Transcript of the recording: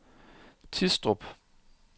Tistrup